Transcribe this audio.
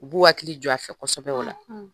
U b'u hakili jɔ a fɛ kosɛbɛ o la.